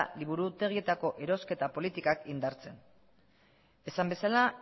liburutegietako erosketa politikak indartzea esan bezala